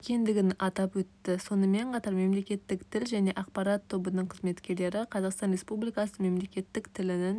екендігін атап өтті сонымен қатар мемлекеттік тіл және ақпарат тобының қызметкерлері қазақстан республикасының мемлекеттік тілінің